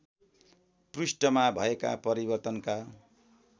पृष्ठमा भएका परिवर्तनका